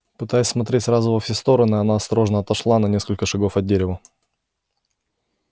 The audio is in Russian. пытаясь смотреть сразу во все стороны она осторожно отошла на несколько шагов от дерева